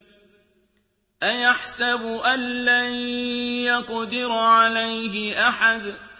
أَيَحْسَبُ أَن لَّن يَقْدِرَ عَلَيْهِ أَحَدٌ